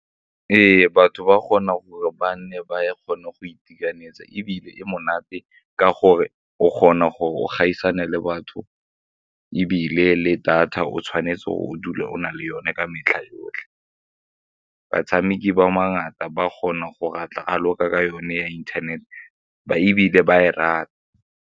Ee, batho ba kgona gore ba nne ba kgone go itekanetse ebile e monate ka gore o kgona gore o gaisana le batho ebile le data o tshwanetse o dule o na le yone ka metlha yotlhe. Batshameki ba ba kgone go raloke ka yone ya inthanete ebile ba e rata.